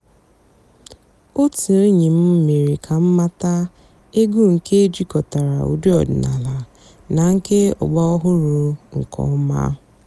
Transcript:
ótú ènyí m mèéré kà m màtàà ègwú nkè jikòtàrà ụ́dị́ ọ̀dị́náàlà nà nkè ọ̀gbàràòhụ́rụ́ nkè ọ̀má.